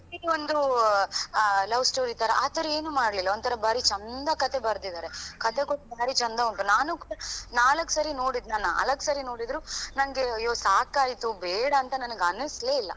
ಇದು ಒಂದು ಅಹ್ love story ತರ ಆತರ ಏನು ಮಾಡ್ಲಿಲ್ಲಾ ಒಂದ್ ತರ ಬಾರಿ ಚಂದ ಕಥೆ ಬರ್ದಿದಾರೆ, ಕಥೆಯೂ ಭಾರಿ ಚಂದ ಉಂಟು ನಾನು ಕೂಡ ನಾಲಕ್ಕು ಸರಿ ನೋಡಿದ್ನ ನಾಲಕ್ಕು ಸರಿ ನೋಡಿದ್ರು ನಂಗೆ ಅಯ್ಯೋ ಸಾಕಾಯ್ತು ಬೇಡಾಂತ ನಂಗೆ ಅನ್ನಿಸ್ಲೇ ಇಲ್ಲ.